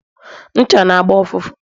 ncha n' agba ụfụfụ